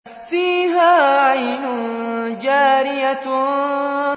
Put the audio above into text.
فِيهَا عَيْنٌ جَارِيَةٌ